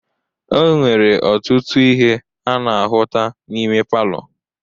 E nwere ọtụtụ ihe a na-ahụta n'ime palọ.